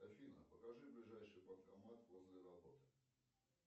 афина покажи ближайший банкомат возле работы